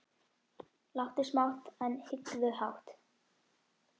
Láttu smátt, en hyggðu hátt.